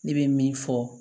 Ne bɛ min fɔ